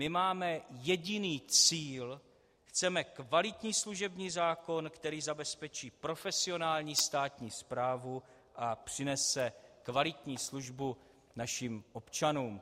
My máme jediný cíl - chceme kvalitní služební zákon, který zabezpečí profesionální státní správu a přinese kvalitní službu našim občanům.